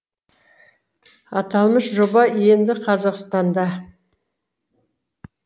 аталмыш жоба енді қазақстанда